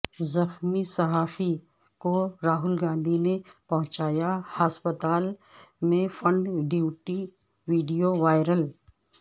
زخمی صحافی کو راہل گاندھی نے پہونچایا ہاسپتال میں فنڈ ویڈیو وائرل